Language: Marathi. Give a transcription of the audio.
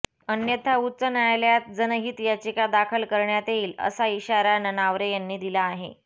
अन्यथा उच्च न्यायालयात जनहित याचिका दाखल करण्यात येईल असा इशारा ननावरे यांनी दिला आहे